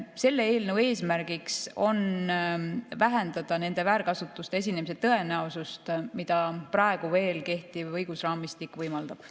Selle eelnõu eesmärk on vähendada nende väärkasutuste esinemise tõenäosust, mida praegu veel kehtiv õigusraamistik võimaldab.